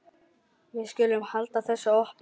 Við skulum halda þessu opnu.